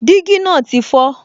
Dígí náà ti fọ